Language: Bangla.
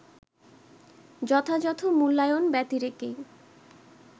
যথাযথ মূল্যায়ন ব্যতিরেকেই